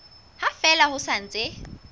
ha fela ho sa ntse